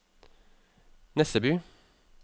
Nesseby